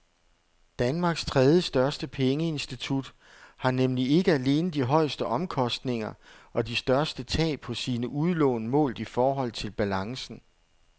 Danmarks tredjestørste pengeinstitut har nemlig ikke alene de højeste omkostninger og de største tab på sine udlån målt i forhold til balancen.